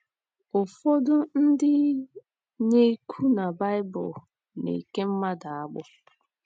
Ụfọdụ ndị na - ekwu na Baịbụl na - eke mmadụ agbụ.